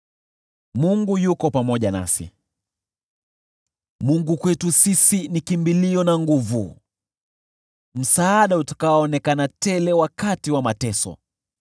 Mungu kwetu sisi ni kimbilio na nguvu, msaada utakaoonekana tele wakati wa mateso.